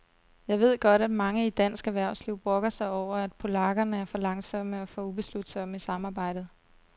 Jeg ved godt, at mange i dansk erhvervsliv brokker sig over, at polakkerne er for langsomme og for ubeslutsomme i samarbejdet.